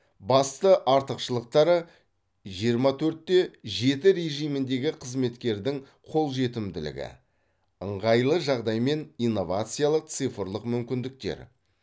басты артықшылықтары жиырма төртте жеті режиміндегі қызметкердің қолжетімділігі ыңғайлы жағдай мен инновациялық цифрлық мүмкіндіктер